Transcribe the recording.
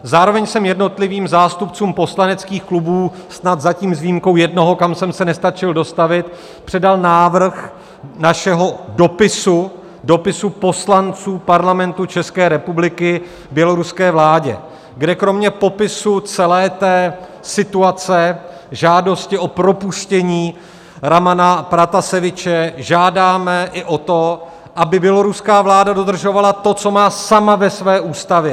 Zároveň jsem jednotlivým zástupcům poslaneckých klubů, snad zatím s výjimkou jednoho, kam jsem se nestačil dostavit, předal návrh našeho dopisu, dopisu poslanců Parlamentu České republiky běloruské vládě, kde kromě popisu celé té situace, žádosti o propuštění Ramana Prataseviče žádáme i o to, aby běloruská vláda dodržovala to, co má sama ve své ústavě.